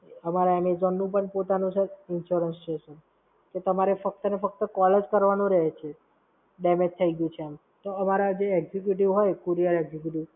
અમારા એમેઝોન નું પણ પોતાનું Sir Insurance છે Sir તો તમારે ફક્ત અને ફક્ત કોલ જ કરવાનો રહે છે. damage થઈ ગયું છે એમ. તો અમારા જે executive હોય, Courier Executive